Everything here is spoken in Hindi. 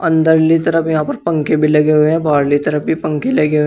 अंदरली तरफ यहां पर पंखे भी लगे हुए हैं। बाहरली तरफ भी पंखे लगे हुए --